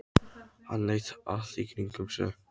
Hann leit allt í kringum sig.